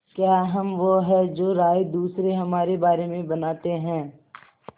क्या हम वो हैं जो राय दूसरे हमारे बारे में बनाते हैं